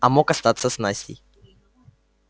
а мог остаться с настей